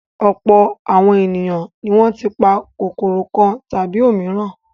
Ọ̀pọ̀ àwọn ènìyàn ni wọ́n ti pa kòkòrò kan tàbí òmíràn.